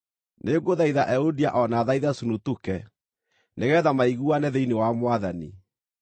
Nĩngũthaitha Euodia o na thaithe Sunutuke nĩgeetha maiguane thĩinĩ wa Mwathani.